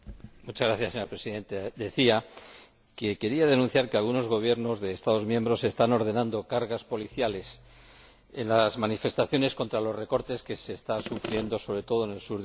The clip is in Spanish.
Señora Presidenta, quería denunciar que algunos Gobiernos de Estados miembros están ordenando cargas policiales en las manifestaciones contra los recortes que se están sufriendo, sobre todo en el sur de Europa.